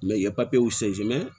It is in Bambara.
Mɛ i ye